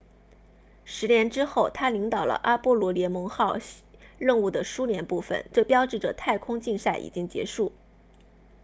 十年之后他领导了阿波罗联盟号任务的苏联部分这标志着太空竞赛已经结束